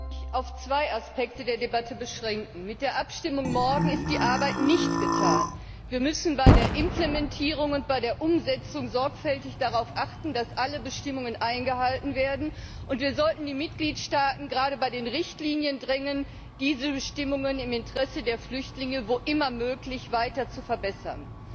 Herr Präsident! Ich muss mich auf zwei Aspekte der Debatte beschränken. Mit der Abstimmung morgen ist die Arbeit nicht getan. Wir müssen bei der Implementierung und bei der Umsetzung sorgfältig darauf achten, dass alle Bestimmungen eingehalten werden, und wir sollten die Mitgliedstaaten gerade bei den Richtlinien drängen, diese Bestimmungen im Interesse der Flüchtlinge, wo immer möglich, weiter zu verbessern.